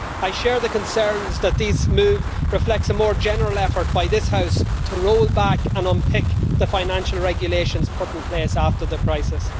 I share the concerns that this move reflects a more general effort by this House to roll back and unpick the financial regulations put in place after the crisis.